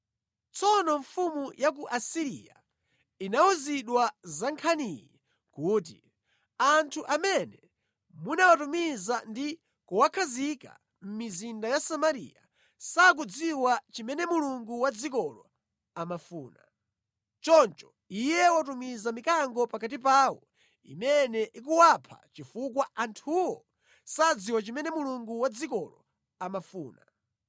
Tsono mfumu ya ku Asiriya inawuzidwa za nkhaniyi kuti, “Anthu amene munawatumiza ndi kuwakhazika mʼmizinda ya Samariya sakudziwa chimene Mulungu wa dzikolo amafuna. Choncho Iye watumiza mikango pakati pawo imene ikuwapha chifukwa anthuwo sadziwa chimene Mulungu wa dzikolo amafuna.”